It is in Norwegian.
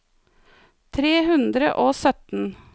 tre hundre og sytten